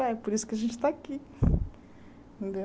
É por isso que a gente está aqui. Entendeu